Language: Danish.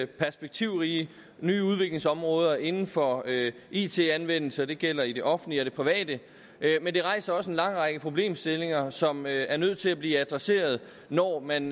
perspektivrige nye udviklingsområder inden for it anvendelse det gælder i det offentlige og i det private men det rejser også en lang række problemstillinger som er nødt til at blive adresseret når man